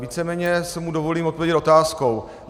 Víceméně si mu dovolím odpovědět otázkou.